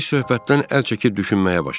Biz söhbətdən əl çəkib düşünməyə başladıq.